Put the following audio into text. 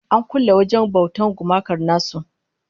An kulle wajen bautar gumakan nasu